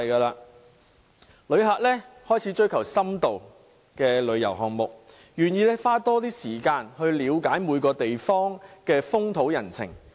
旅客開始追求深度的旅遊項目，願意多花時間了解每個地方的風土人情。